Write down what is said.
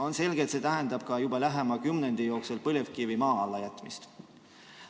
On selge, et see tähendab ka lähema kümnendi jooksul põlevkivi maa alla jätmist.